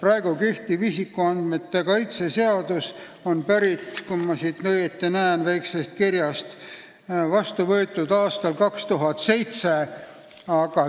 Kui ma siit väiksest kirjast õigesti näen, siis on praegu kehtiv isikuandmete kaitse seadus vastu võetud aastal 2007.